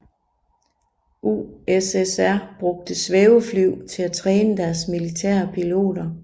USSR brugte svævefly til at træne deres militære piloter